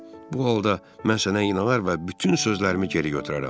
Bu halda mən sənə inanar və bütün sözlərimi geri göndərərəm.